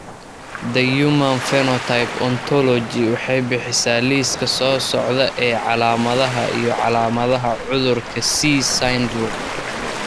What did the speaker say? The Human Phenotype Ontology waxay bixisaa liiska soo socda ee calaamadaha iyo calaamadaha cudurka C syndrome.